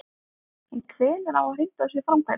En hvenær á að hrinda þessu í framkvæmd?